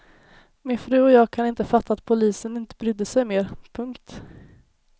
Min fru och jag kan inte fatta att polisen inte brydde sig mer. punkt